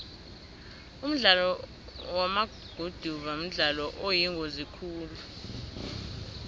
umdlalo wamaguduva mdlalo oyingozi khulu